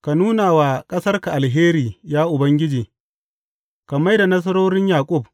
Ka nuna wa ƙasarka alheri, ya Ubangiji; ka mai da nasarorin Yaƙub.